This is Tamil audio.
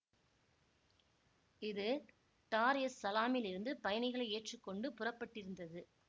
இது டார் எஸ் சலாம் இலிருந்து பயணிகளை ஏற்றி கொண்டு புறப்பட்டிருந்தது